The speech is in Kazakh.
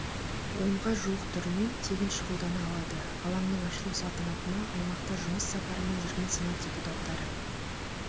онға жуық түрімен тегін шұғылдана алады алаңның ашылу салтанатына аймақта жұмыс сапарымен жүрген сенат депутаттары